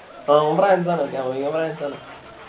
ആഹ് ഓൻ ഫ്രാൻസാണ് കോവിങ്ങോ ഫ്രാൻസാണ്